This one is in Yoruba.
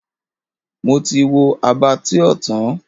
Mo ti wo Abattoir tán.